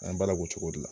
An ye baara k'o cogo de la